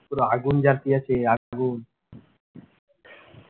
পুরো আগুন জালিয়ে আছে আগুন